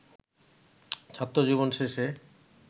ছাত্রজীবন শেষে